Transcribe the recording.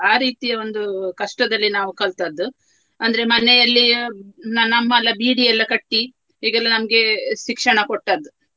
ಆ ರೀತಿಯ ಒಂದು ಕಷ್ಟದಲ್ಲಿ ನಾವು ಕಲ್ತದ್ದು. ಅಂದ್ರೆ ಮನೆಯಲ್ಲಿ ನನ್ನ ಅಮ್ಮ ಎಲ್ಲ ಬೀಡಿ ಎಲ್ಲ ಕಟ್ಟಿ ಈಗೆಲ್ಲ ನಮ್ಗೆ ಶಿಕ್ಷಣ ಕೊಟ್ಟದ್ದು.